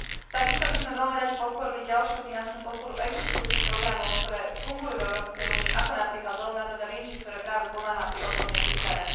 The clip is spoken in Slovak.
Takisto by sme veľmi radi podporili ďalšiu finančnú podporu existujúcich programov, ktoré fungujú v Európskej únii, ako napríklad Leonardo da Vinci, ktorý práve pomáha pri odbornej príprave.